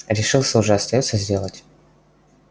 решился уже остаётся сделать